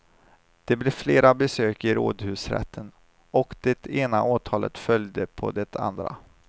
Det blev flera besök i rådhusrätten, och det ena åtalet följde på det andra.